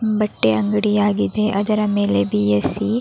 ಬಟ್ಟೆ ಅಂಗಡಿ ಆಗಿದೆ ಅದರ ಮೇಲೆ ಬಿ.ಎ.ಸಿ --